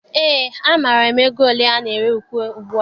Eé, amaara m ego ole ana ere iko ugbua.